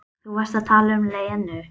Þú varst að tala um Lenu.